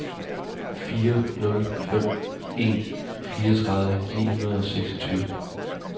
fire nul fem en fireogtredive ni hundrede og seksogtyve